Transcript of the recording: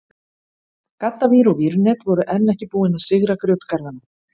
Gaddavír og vírnet voru enn ekki búin að sigra grjótgarðana.